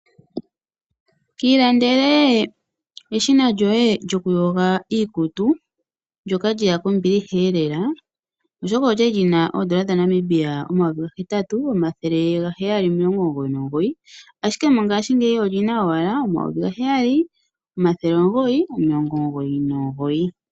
Kiilandele eshina lyoye lyokuyoga iikutu ndyoka lyeya kombiliheelela. Oshoka olyali lyina oodola dhaNamibia omayovi gahetatu omathele gaheyali omilongo omugoyi nomugoyi, ashike mongashingeyi olina owala omayovi gaheyali omathele omugoyi omilongo omugoyi nomugoyi.